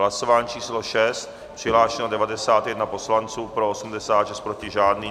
Hlasování číslo 6, přihlášeno 91 poslanců, pro 86, proti žádný.